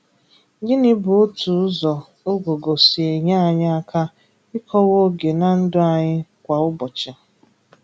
Gịnị bụ otu ụzọ Ụ̀gụ̀gụ̀ si enye anyị aka ị̀kọ́wa oge na ndụ anyị kwa ụ́bọ̀chị?